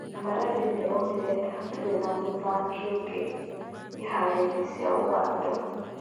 Maradi nĩ onire atĩ hatirĩ na mũthaki ũngĩ iharoinĩ cia Ũganda.